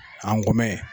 An go mɛ